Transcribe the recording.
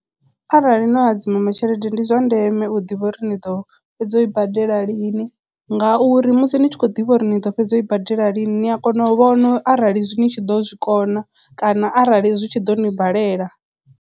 Arali no hadzima tshelede ndi zwa ndeme u ḓivha uri ni ḓo fhedza u i badela lini ngauri musi ni tshi khou ḓivha uri ni ḓo fhedza u i badela lini ni a kona u vhona arali ni tshi ḓo zwikona kana arali zwi tshi ḓo ni balela.